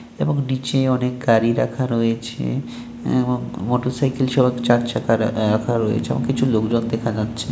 এবং নিচে অনেক গাড়ি রাখা রয়েছে এবং মোটরসাইকেল সহ চারচাকা রা রাখা রয়েছে এবং কিছু লোকজন দেখা যাচ্ছে।